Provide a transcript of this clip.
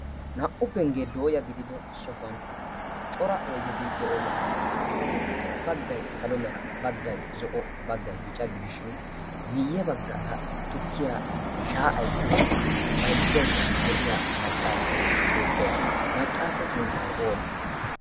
naa77u penggee dooya gidido sohuwan cora oideti de7oosona. eta giddoppe baggai salo mera baggai zo7o baggai bica gidishin miyye baggaara tukkiya shaa7aiddanne baizzaidda de7iya maccaasiyaa beettoos maccaasee sunttai oonee?